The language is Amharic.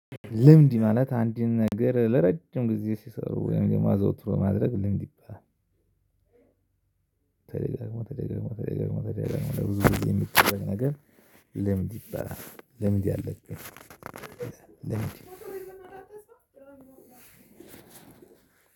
ልምድ ማለት አንድን ነገር ለረጅም ጊዜ ሲሰሩ ወይም የማዘውትሮ ማድረግ ልምድ ይባላል። ተደጋጋሚ ተደጋጋሚ ተደጋጋሚ ተደጋጋሚ ብዙ ጊዜ የሚደረግ ነገር ልምድ ይባላል። ልምድ